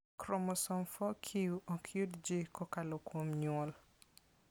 Chromosome 4q ok yud ji kokalo kuom nyuol.